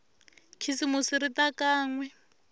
khisimusi ri ta kan we